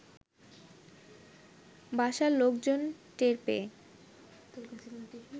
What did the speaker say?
বাসার লোকজন টের পেয়ে